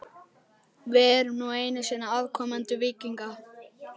Við erum nú einu sinni afkomendur víkinga.